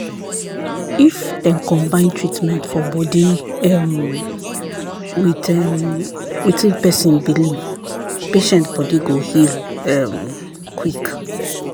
if dem combine treatment for body um with um wetin person belief patient body go heal um quick.